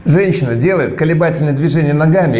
женщина делает колебательное движение ногами